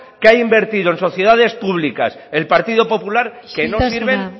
que ha invertido en sociedades públicas el partido popular isiltasuna que no sirven